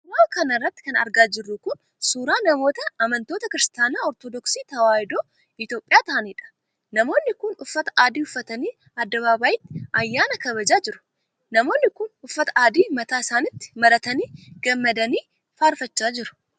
Suura kana irratti kan argaa jirru kun, suura namoota amantoota Kiristaana Ortodooksii Tawaahidoo Itoophiyaa ta'aniidha. Namoonni kun uffata adii uffatanii addabaabaayiitti ayyaana kabajaa jiru. Namoonni kun, uffata adii mataa isaaniitti maratanii gammadanii fi faarfachaa jiru.